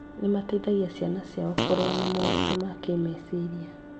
Nĩ mateithagia ciana ciao kũrũa na moritũ ma kĩmeciria.